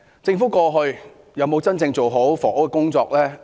政府過去有否真正做好房屋工作呢？